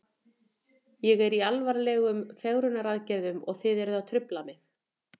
Ég er í alvarlegum fegrunaraðgerðum og þið eruð að trufla mig.